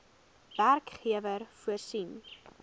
werkgewer voorsien